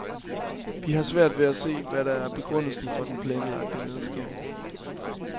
Vi har svært ved at se, hvad der er begrundelsen for den planlagte nedskæring.